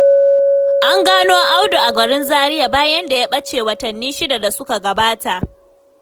An gano Audu a garin Zariya bayan da ya ɓace watanni 6 da suka gabata,